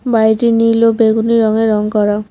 বাড়িটি নীল ও বেগুনি রঙে রং করা।